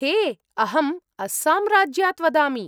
हे! अहम् अस्साम् राज्यात् वदामि।